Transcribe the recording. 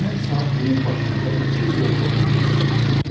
həmin saat bunun başında iki zorba buynuz çıxır.